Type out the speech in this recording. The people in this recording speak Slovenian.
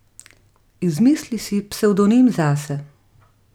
Izmisli si psevdonim zase.